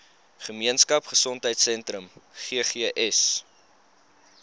gemeenskap gesondheidsentrum ggs